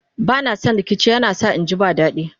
bana San rikici yana sa inji ba dadi